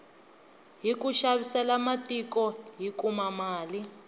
hiku xavisela matiko hi kuma mali